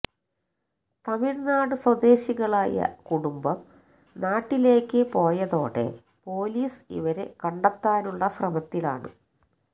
തമിഴ്നാട് സ്വദേശികളായ കുടുംബം നാട്ടിലേക്ക് പോയതോടെ പൊലീസ് ഇവരെ കണ്ടെത്താനുള്ള ശ്രമത്തിലാണ്